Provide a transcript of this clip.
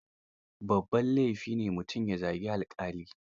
Babban laifi ne mutum ya zagi alƙali.